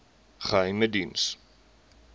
geheimediens